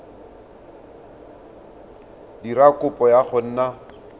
dira kopo ya go nna